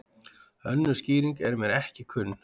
Önnur skýring er mér ekki kunn.